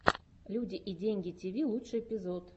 люди и деньги тиви лучший эпизод